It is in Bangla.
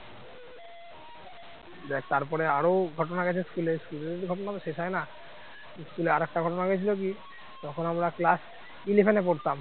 দেখ তারপরে আরো ঘটনা গেছে school এ school এর ঘটনা তো শেষ হয় না school র একটা ঘটনা গেছিল কি তখন আমরা class eleven এ পড়তাম।